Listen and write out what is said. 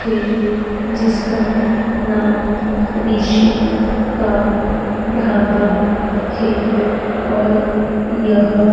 है जिसका नाम ऋषि का ढाबा है और यह --